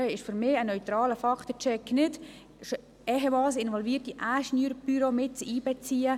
Für mich heisst ein neutraler Faktencheck nicht, dass man ehemals involvierte Ingenieurbüros einbezieht.